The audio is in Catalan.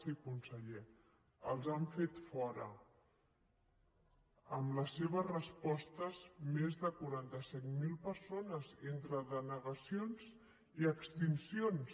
sí conseller els han fet fora amb les seves respostes més de quaranta set mil persones entre denegacions i extincions